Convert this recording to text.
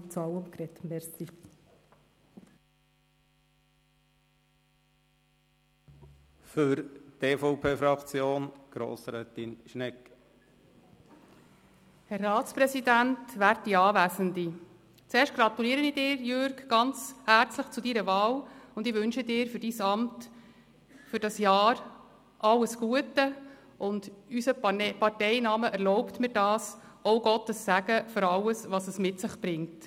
Zuerst gratuliere ich Ihnen, lieber Jürg Iseli, ganz herzlich zu Ihrer Wahl und wünsche Ihnen für Ihr Amt dieses Jahr alles Gute und – unser Parteinamen erlaubt mir das – auch Gottes Segen für alles, was es mit sich bringt.